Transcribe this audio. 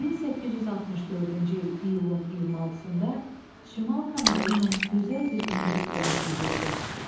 1864-cü il iyulun 26-da Şimal Kanalı ilə gözəl bir ingilis gəmisi üzürdü.